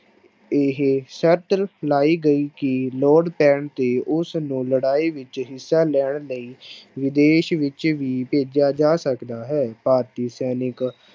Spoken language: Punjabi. ਇਹ ਸਰਤ ਲਾਈ ਗਈ ਕਿ ਲੋੜ ਪੈਣ ਤੇ ਉਸਨੂੰ ਲੜਾਈ ਵਿੱਚ ਹਿੱਸਾ ਲੈਣ ਲਈ ਵਿਦੇਸ਼ ਵਿੱਚ ਵੀ ਭੇਜਿਆ ਜਾ ਸਕਦਾ ਹੈ ਭਾਰਤੀ ਸੈਨਿਕ